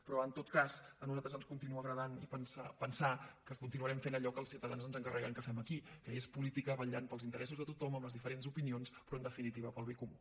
però en tot cas a nosaltres ens continua agradant pensar que continuarem fent allò que els ciutadans ens encarreguen que fem aquí que és política vetllant pels interessos de tothom amb les diferents opinions però en definitiva pel bé comú